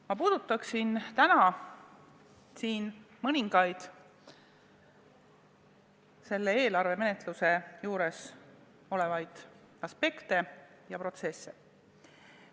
Ma puudutan täna mõningaid eelarvemenetluse aspekte ja protsesse.